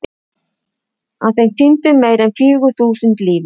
Af þeim týndu meira en fjögur þúsund lífi.